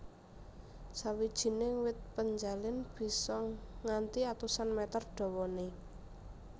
Sawijining wit penjalin bisa nganti atusan mèter dawané